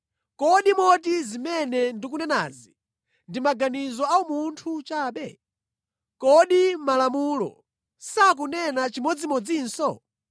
Kodi moti zimene ndikunenazi ndimaganizo a umunthu chabe? Kodi Malamulo sakunena chimodzimodzinso?